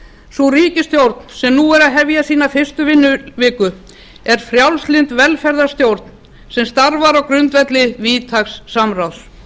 sú ríkisstjórn sem nú er að hefja sína fyrstu vinnuviku er frjálslynd velferðarstjórn sem starfar á grundvelli víðtæks samráðs